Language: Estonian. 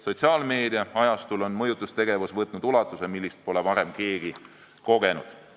Sotsiaalmeedia ajastul on mõjutustegevus võtnud ulatuse, mida pole varem keegi kogenud.